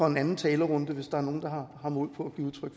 en anden talerunde hvis der er nogle der har mod